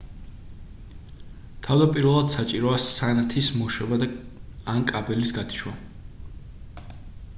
თავდაპირველად საჭიროა სანათის მოშვება ან კაბელის გათიშვა